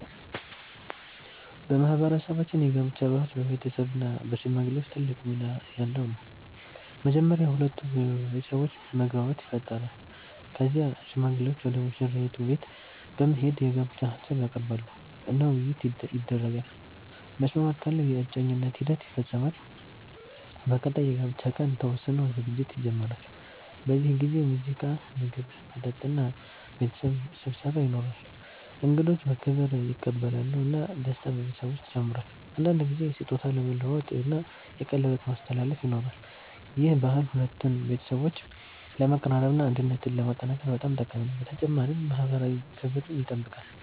በማህበረሰባችን የጋብቻ ባህል በቤተሰብ እና በሽማግሌዎች ትልቅ ሚና ያለው ነው። መጀመሪያ የሁለቱ ቤተሰቦች መግባባት ይፈጠራል። ከዚያ ሽማግሌዎች ወደ ሙሽራይቱ ቤት በመሄድ የጋብቻ ሀሳብ ያቀርባሉ እና ውይይት ይደረጋል። መስማማት ካለ የእጮኝነት ሂደት ይፈጸማል። በቀጣይ የጋብቻ ቀን ተወስኖ ዝግጅት ይጀመራል። በዚህ ጊዜ ሙዚቃ፣ ምግብ፣ መጠጥ እና ቤተሰብ ስብሰባ ይኖራል። እንግዶች በክብር ይቀበላሉ እና ደስታ በቤተሰቡ ውስጥ ይጨምራል። አንዳንድ ጊዜ ስጦታ መለዋወጥ እና የቀለበት ማስተላለፍ ይኖራል። ይህ ባህል ሁለቱን ቤተሰቦች ለማቀራረብ እና አንድነትን ለማጠናከር በጣም ጠቃሚ ነው፣ በተጨማሪም ማህበራዊ ክብርን ይጠብቃል።